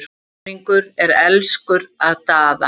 Almenningur er elskur að Daða.